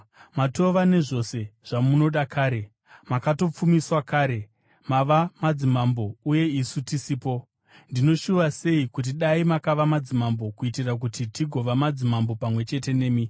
Matova nezvose zvamunoda kare! Makatopfumiswa kare! Mava madzimambo, uye isu tisipo! Ndinoshuva sei kuti dai makava madzimambo kuitira kuti tigova madzimambo pamwe chete nemi!